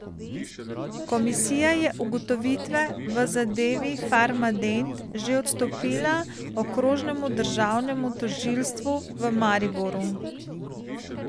Komisija je ugotovitve v zadevi Farmadent že odstopila Okrožnemu državnemu tožilstvu v Mariboru.